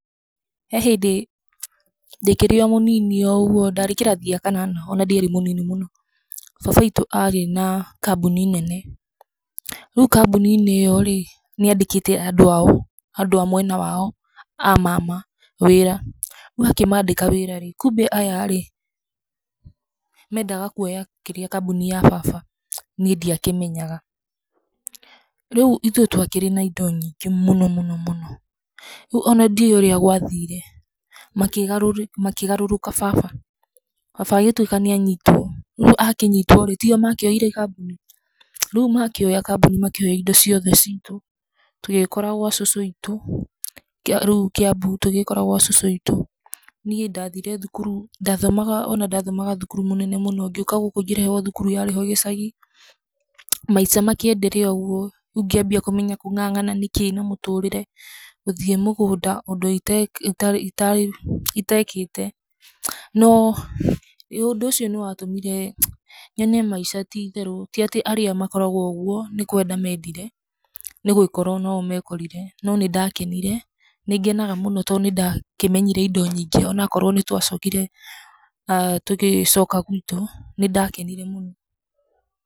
He hĩndĩ, ndĩkĩrĩ o mũnini o ũguo, ndarĩ kĩrathi gĩa kanana ona ndĩarĩ mũnini mũno, baba witũ arĩ na kambuni nene, rĩu kambuninĩ ĩyo rĩ, nĩ andĩkĩte andũ ao, andũ a mwena wao, a mama wĩra, rĩu akĩmandĩka wĩrarĩ, kumbĩ aya rĩ, mendaga kwoya kĩrĩa, kambuni ya baba, niĩ ndia kĩmenyaga, rĩu ithuĩ twakĩrĩ na indo nyingĩ mũno, mũno, mũno, rĩu ona ndĩo ũrĩa gwathire, makĩgarũrĩ, makĩgarũrũka baba, baba agĩtwĩka nĩ anyitwo, rĩu akĩnyitworĩ, tio makĩowire kambuni, rĩu makĩoya kambuni makĩoya indo ciothe citũ, tũgĩkora gwa cucu witũ, kĩa rĩu Kiambu, tũgĩkora gwa cucu witũ, niĩ ndathire thukuru, ndathoma ona ndathomaga thukuru mũnene mũno, ngĩũka gũkũ ngĩrehwo thukuru yarĩ ho gĩcagi, maica ma kĩ [endelea] ũguo, rĩu ngĩambia kũmenya kũng'ang'ana nĩ kĩĩ na mũtũrĩre, gũthiĩ mũgũnda ũndũ , itekĩte, no, ĩ ũndũ ũcio nĩ watũmire, yone maica tĩtherũ, ti atĩ arĩa makoragwo ũguo nĩ kwenda mendire, nĩ gwĩkora onao mekorire, no nĩ ndakenire, nĩ ngenaga mũno tondũ nĩ ndakĩmenyire indo nyingĩ, onakorwo nĩ twacokire aah tũgĩcoka gwitũ, nĩ ndakenire mũno.